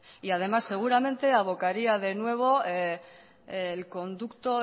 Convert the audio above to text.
y además seguramente avocaría de nuevo el conducto